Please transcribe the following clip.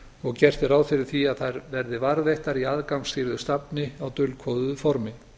og gert er ráð fyrir því að þær verði varðveittar í aðgangsstýrðu safni á dulkóðuðu formi